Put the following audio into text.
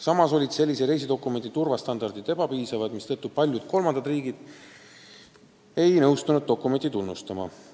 Samas on sellise reisidokumendi turvastandardid olnud ebapiisavad, mistõttu ei ole paljud kolmandad riigid nõustunud dokumenti tunnustama.